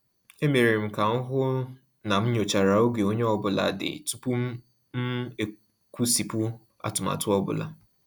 E mere m ka m hụ na m nyochara oge onye ọ bụla dị tupu m kwụsịpụ atụmatụ ọ bụla.